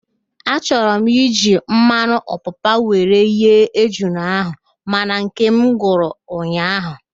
Achoburu m iji mmanụ opapa were ghee ejula ahụ mana nkem gwụrụ ụnyaahụ